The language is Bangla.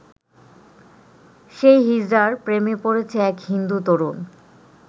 সেই হিজড়ার প্রেমে পড়েছে এক হিন্দু তরুণ।